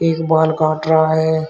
एक बाल काट रहा है।